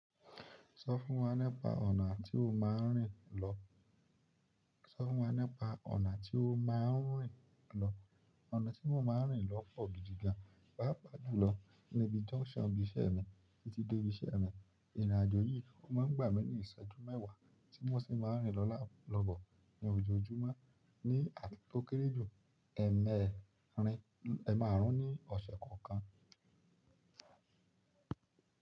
Sọ fún wa nípa ọ̀nà tí o máa ń rìn lọ. Sọ fún wa nípa ọ̀nà tí o máa ń rìn lọ. Ọ̀nà tí mo máa ń rìn lọ pọ̀ gidi gan, pàápàá jùlọ níbi junction ibiṣẹ́ mi títí dé ibiṣẹ́ mi. Ìrìnàjò yìí ó máa ń gbà mí ní ìṣẹ́jú mẹ́wàá tí mo sì máa ń rìn lọ lá-- lọ́bọ ní ojoojúmọ́. Ni tó kéré jù, ẹ̀ mẹ́rin-- ẹ̀ máarún ní ọ̀ṣẹ̀ kan kan.